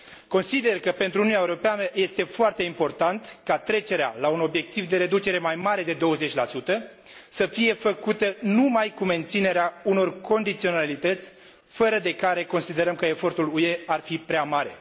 Consider că pentru Uniunea Europeană este foarte important ca trecerea la un obiectiv de reducere mai mare de 20 să fie făcută numai cu menținerea unor condiționalități fără de care considerăm că efortul UE ar fi prea mare.